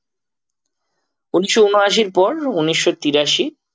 উনিশশো ঊনআশির পর উনিশশো তিরাশি